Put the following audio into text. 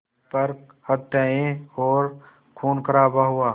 पर हत्याएं और ख़ूनख़राबा हुआ